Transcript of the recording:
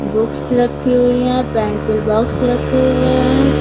Books रखी हुई है पेंसिल बॉक्स रखे हुए है।